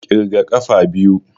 Ƙirga ƙafa biyu